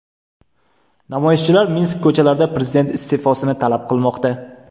Namoyishchilar Minsk ko‘chalarida prezident iste’fosini talab qilib qilmoqda .